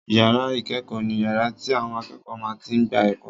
Ìyàrá ìkẹ́kọ̀ọ́ ni yàrá tí àwọn akẹ́kọ̀ọ́ máa tí n gba ẹ̀kọ́